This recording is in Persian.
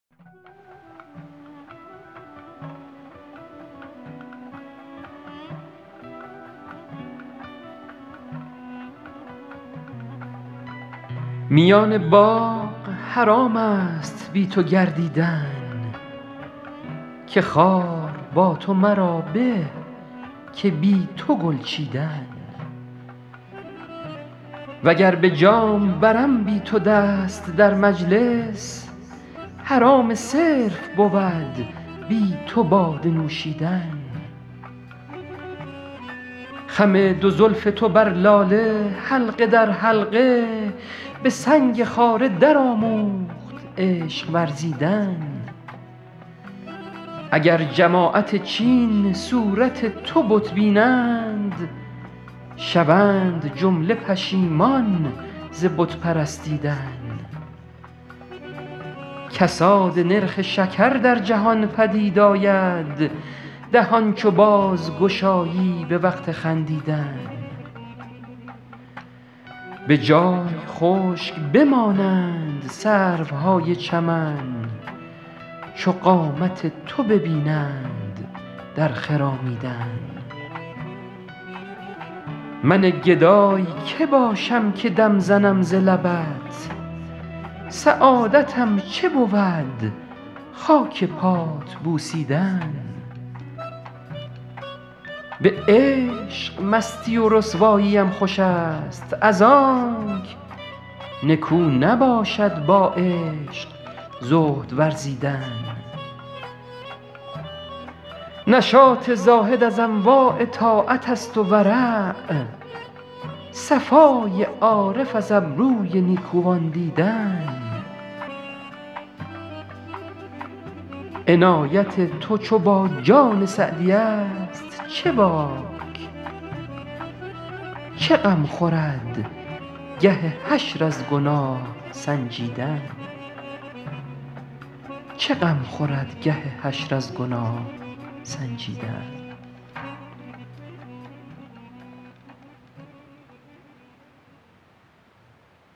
میان باغ حرام است بی تو گردیدن که خار با تو مرا به که بی تو گل چیدن و گر به جام برم بی تو دست در مجلس حرام صرف بود بی تو باده نوشیدن خم دو زلف تو بر لاله حلقه در حلقه به سنگ خاره درآموخت عشق ورزیدن اگر جماعت چین صورت تو بت بینند شوند جمله پشیمان ز بت پرستیدن کساد نرخ شکر در جهان پدید آید دهان چو بازگشایی به وقت خندیدن به جای خشک بمانند سروهای چمن چو قامت تو ببینند در خرامیدن من گدای که باشم که دم زنم ز لبت سعادتم چه بود خاک پات بوسیدن به عشق مستی و رسواییم خوش است از آنک نکو نباشد با عشق زهد ورزیدن نشاط زاهد از انواع طاعت است و ورع صفای عارف از ابروی نیکوان دیدن عنایت تو چو با جان سعدی است چه باک چه غم خورد گه حشر از گناه سنجیدن